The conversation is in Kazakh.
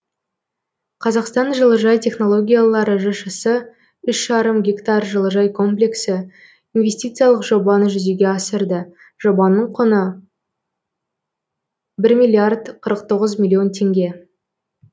қазақстан жылыжай технологиялары жшс үш жарым гектар жылыжай комплексі инвестициялық жобаны жүзеге асырды жобаның құны бір миллиард қырық тоғыз миллион теңге